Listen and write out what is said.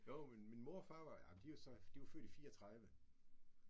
Jo men min mor og far var ja de var så de var født i 34